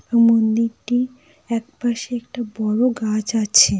মন্দিরটি একপাশে একটা বড়ো গাছ আছেঃ